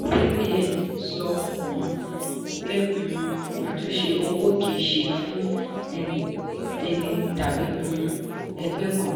cbn sọ um pé um àtúnṣe owó kìí ṣe fún ẹni tàbí um ẹgbẹ́ kan.